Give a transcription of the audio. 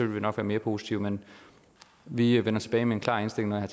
vi nok være mere positive men vi vender tilbage med en klar indstilling når jeg